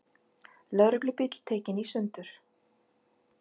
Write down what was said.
Lögreglubíll tekinn í sundur